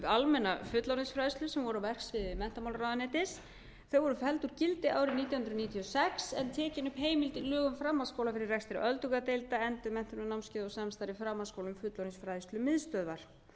almenna fullorðinsfræðslu sem voru á verksviði menntamálaráðuneytis þau voru felld úr gildi árið nítján hundruð níutíu og sex en tekin upp heimild í lögum framhaldsskóla fyrir rekstri öldungadeilda endurmenntunarnámskeiða og samstarfi framhaldsskóla